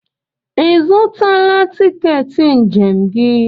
Ị zụtala tiketi njem gị?